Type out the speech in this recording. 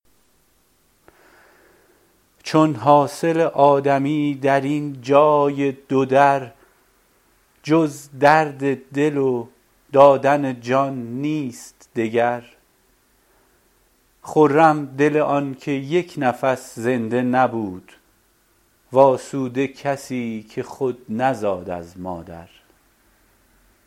چون حاصل آدمی درین جای دودر جز درد دل و دادن جان نیست دگر خرم دل آن که یک نفس زنده نبود و آسوده کسی که خود نزاد از مادر